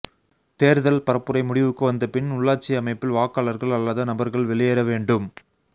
தேர்தல்பரப்புரை முடிவுக்கு வந்தபின் உள்ளாட்சி அமைப்பில் வாக்காளர்கள் அல்லாத நபர்கள் வெளியேற வேண்டும்